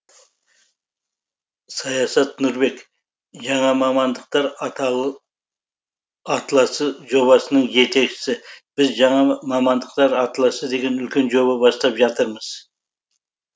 саясат нұрбек жаңа мамандықтар атласы жобасының жетекшісі біз жаңа мамандықтар атласы деген үлкен жоба бастап жатырмыз